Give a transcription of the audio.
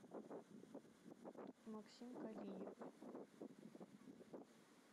максим калиев